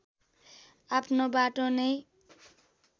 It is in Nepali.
आफ्नो बाटो नै